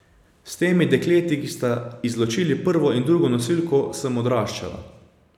S temi dekleti, ki sta izločili prvo in drugo nosilko, sem odraščala.